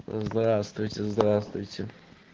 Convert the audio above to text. здравствуйте здравствуйте